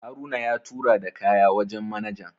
Haruna ya tura da kaya wajen manajan